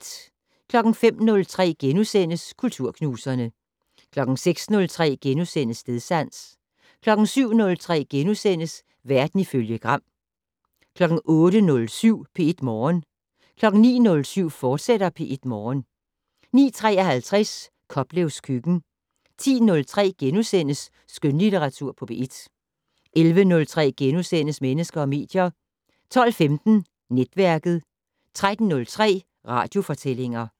05:03: Kulturknuserne * 06:03: Stedsans * 07:03: Verden ifølge Gram * 08:07: P1 Morgen 09:07: P1 Morgen, fortsat 09:53: Koplevs køkken 10:03: Skønlitteratur på P1 * 11:03: Mennesker og medier * 12:15: Netværket 13:03: Radiofortællinger